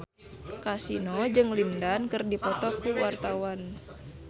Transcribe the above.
Kasino jeung Lin Dan keur dipoto ku wartawan